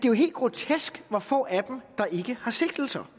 er helt grotesk hvor få af dem der ikke har sigtelser